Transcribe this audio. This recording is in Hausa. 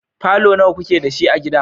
falo nawa ku ke da shi a gida?